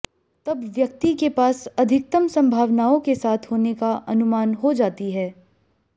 तब व्यक्ति के पास अधिकतम संभावनाओं के साथ होने का अनुमान हो जाती है